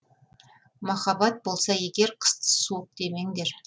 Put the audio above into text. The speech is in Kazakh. махаббат болса егер қысты суық демеңдер